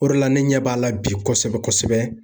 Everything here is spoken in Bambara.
O de la ne ɲɛ b'a la bi kosɛbɛ kosɛbɛ.